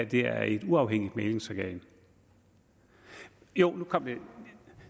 det her er et uafhængigt mæglingsorgan jo nu kom det